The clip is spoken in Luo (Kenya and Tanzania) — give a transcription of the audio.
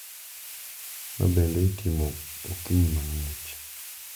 Mabende itimo okinyi mang`ich,